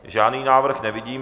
Žádný návrh nevidím.